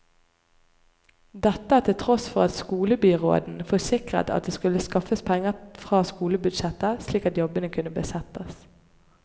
Dette til tross for at skolebyråden forsikret at det skulle skaffes penger fra skolebudsjettet, slik at jobbene kunne besettes.